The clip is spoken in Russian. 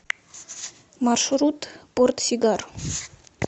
маршрут портсигар